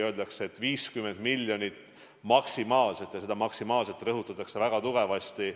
Öeldakse, et 50 miljonit maksimaalselt, ja seda "maksimaalselt" rõhutatakse väga tugevasti.